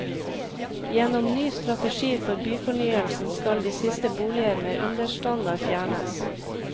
Gjennom ny strategi for byfornyelsen skal de siste boliger med understandard fjernes.